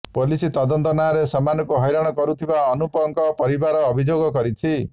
police ତଦନ୍ତ ନାଁରେ ସେମାନଙ୍କୁ ହଇରାଣ କରୁଥିବା ଅନୁପଙ୍କ ପରିବାର ଅଭିଯୋଗ କରିଛି